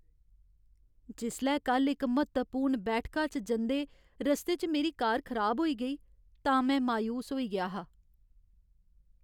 जिसलै कल्ल इक म्हत्तवपूर्ण बैठका च जंदे रस्ते च मेरी कार खराब होई गेई तां में मायूस होई गेआ हा।